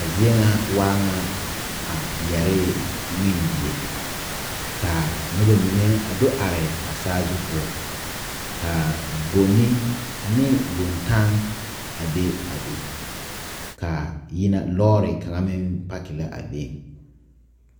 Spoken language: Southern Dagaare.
A zie ŋa waa ŋa a yɛree ŋmendie ka nobamine a do are a sazu poɔ ka boŋne ane boŋtaŋ be a be ka a yina loori kaŋa meŋ a paaki la a being.